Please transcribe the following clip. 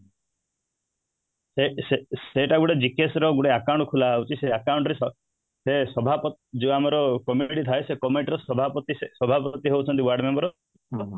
ସେ ସେ ସେଇଟା ଗୋଟେ GKS ର ଗୋଟେ account ଖୋଲା ହେଇଛି ସେଇ account ରେ ସେ ସଭାପତି ଯିଏ ଆମର government ରେ ଥାଏ ସେଇ government ରେ ସଭାପତି ସଭାପତି ହଉଛନ୍ତି ଆମର ୱାର୍ଡମେମ୍ବର